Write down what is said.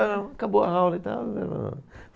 Não. Acabou a aula e tal.